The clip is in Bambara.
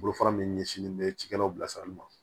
Bolofara min ɲɛsinlen bɛ cikɛdaw bilasirali ma